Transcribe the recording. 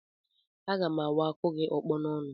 Aga m awa akụ gị ọkpọ n'ọnụ